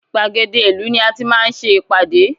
Gbàgede ìlú ni a tí máa ń ṣe ìpàdé